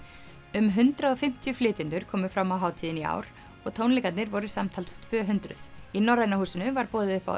um hundrað og fimmtíu flytjendur komu fram á hátíðinni í ár og tónleikarnir voru samtals tvö hundruð í Norræna húsinu var boðið upp á